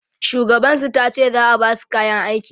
shugaban su tace za'a Basu kayan aiki